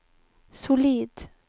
solid